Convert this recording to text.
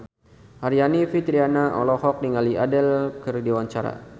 Aryani Fitriana olohok ningali Adele keur diwawancara